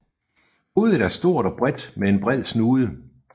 Hovedet er stort og bredt med en bred snude